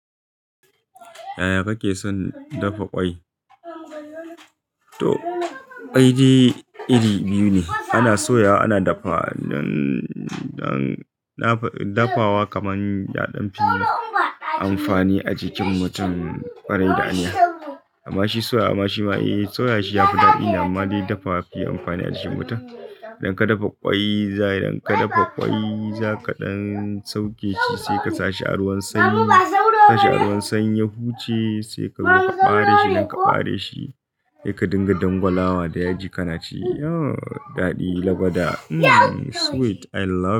Yaya kake son dafa ƙwai? To ƙwai dai iri biyu ne, ana soyawa ana dafawa. Dafawa kaman yaɗan fi amfani a jikin mutum ƙarai da aniya. Amma shi soya shi ya fi daɗi amma dai dafa shi yafi amfani a jikin mutum. Idan ka dafa ƙwai za ka ɗan sauke shi sai ka sa shi a ruwan sanyi, sa shi a ruwan sanyi ya huce sai kaɓare shi. Idan kaɓare shi sai ka dinga dangwalawa da yaji kana ci. Oh daɗi, lagwada sweet I love.